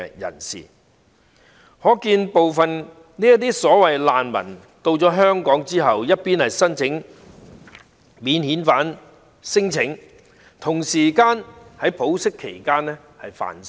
由此可見，部分這些所謂難民來港後，一方面申請免遣返聲請，另一方面在保釋期間犯事。